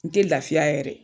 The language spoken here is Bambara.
N tɛ lafiya yɛrɛ.